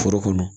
Foro kɔnɔ